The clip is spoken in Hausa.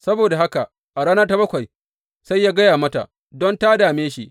Saboda haka a rana ta bakwai sai ya gaya mata, don ta dame shi.